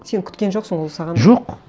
сен күткен жоқсың ол саған жоқ